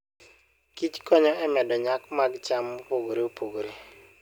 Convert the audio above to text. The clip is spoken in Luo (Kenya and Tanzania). kich konyo e medo nyak mag cham mopogore opogore.